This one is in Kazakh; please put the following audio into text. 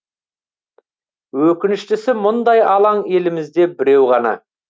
өкініштісі мұндай алаң елімізде біреу ғана